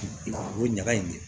O ɲaga in